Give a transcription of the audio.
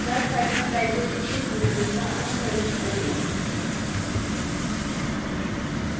insert fragment library से butane का अणु प्रविष्ट करें